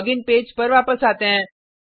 login page पर वापस आते हैं